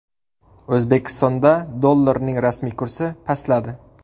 O‘zbekistonda dollarning rasmiy kursi pastladi.